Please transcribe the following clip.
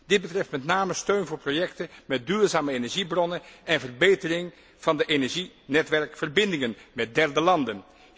Dit betreft met name steun voor projecten met duurzame energiebronnen en verbetering van de energienetwerkverbindingen met derde landen.